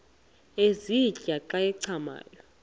ezintia xa zincathamayo